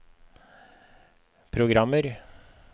programmer